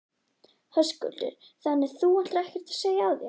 Höskuldur: Þannig að þú ætlar ekkert að segja af þér?